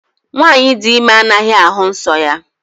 Nwanyị dị ime anaghị ahụ nsọ ya